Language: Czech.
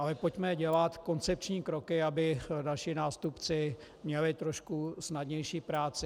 Ale pojďme dělat koncepční kroky, aby další nástupci měli trošku snadnější práci.